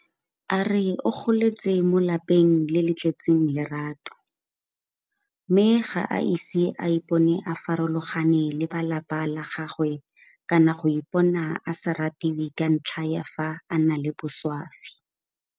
A re o goletse mo lapeng le le tletseng lerato mme ga a ise a ipone a farologane le ba lapa la gagwe kana go ipona a sa ratiwe ka ntlha ya fa a na le boswafi.